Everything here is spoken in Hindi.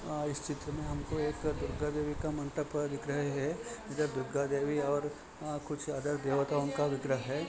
इस चित्र में हमको एक दुर्गा देवी का मंडप दिख रहे है इधर दुर्गा देवी और कुछ अदर देवताओं विग्रह है।